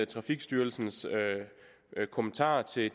trafikstyrelsens kommentarer til